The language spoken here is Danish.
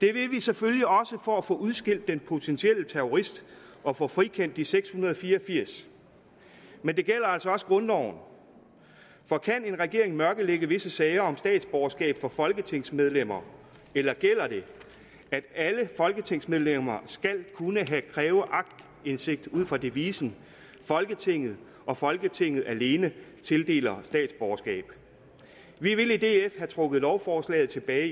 det vil vi selvfølgelig også for at få udskilt den potentielle terrorist og få frikendt de seks hundrede og fire og firs men det gælder altså også grundloven for kan en regering mørklægge visse sager om statsborgerskab for folketingsmedlemmer eller gælder det at alle folketingsmedlemmer skal kunne kræve aktindsigt ud fra devisen folketinget og folketinget alene tildeler statsborgerskab vi vil i df have trukket lovforslaget tilbage